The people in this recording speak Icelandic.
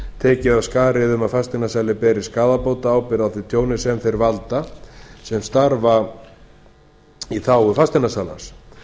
tekið af skarið um að fasteignasali beri skaðabótaábyrgð á því tjóni sem þeir valda sem starfa í þágu fasteignasalans